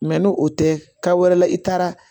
n'o o tɛ ka wɛrɛ la i taara